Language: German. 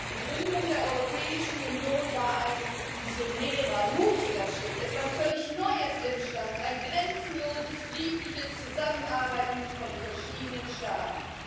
Frau Präsidentin! Die Gründung der Europäischen Union war ein visionärer, mutiger Schritt. Etwas völlig Neues entstand ein grenzenloses, friedliches Zusammenarbeiten von verschiedenen Staaten.